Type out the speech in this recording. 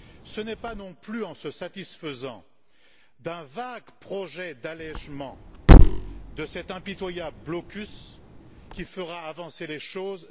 Ce n'est pas non plus en se satisfaisant d'un vague projet d'allégement de cet impitoyable blocus que l'on fera avancer les choses.